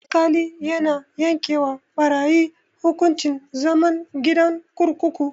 Alkali yana yanke wa barayi hukuncin zama gidan kurkuku.